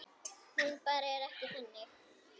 Hún bara er ekki þannig.